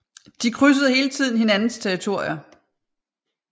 De krydsede hele tiden hinandens territorier